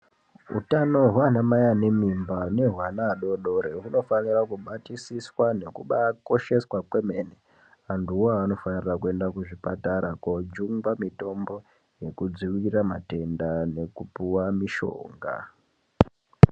Hutano hwana mai ane mimba ne hwana adodori huno fanira kubatisiswa nekubai kosheswa kwemene antu wo aya ano fanira kuenda ku zvipatara ko jungwa mitombo neku dzivirira matenda neku puwa mishonga.